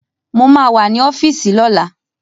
Mo ma wà ní ọ́fíìsì lọ́la